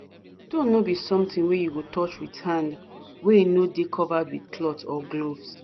stone be sometin wey you go touch with hands wey no dey covered with cloth or gloves